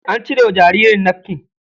An cire wa jaririn nafkin.